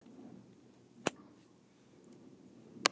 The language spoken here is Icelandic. Slíkir erfiðleikar geta að sjálfsögðu endað með gjaldþroti félagsins.